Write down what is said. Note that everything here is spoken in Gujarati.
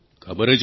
ખબર જ નથી